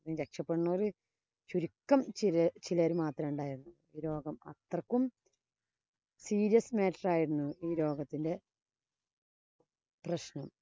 രക്ഷപ്പെടുന്നോര് ചുരുക്കം ചില ചിലര് മാത്രാ ഉണ്ടായത്. ഈ രോഗം അത്രയ്ക്കും serious matter ആയിരുന്നു ഈ രോഗത്തിന്‍റെ പ്രശ്നം.